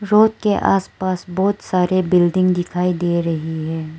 Road के आस पास बहुत सारे बिल्डिंग दिखाई दे रही हैं।